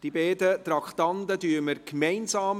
Die beiden Traktanden beraten wir gemeinsam.